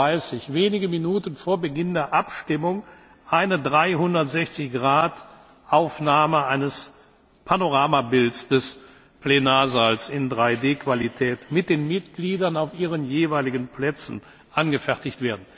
um 12.30 Uhr, wenige Minuten vor Beginn der Abstimmung, wird eine 360 Grad Aufnahme für ein Panoramabild des Plenarsaals in 3D Qualität mit den Mitgliedern auf ihren Plätzen angefertigt.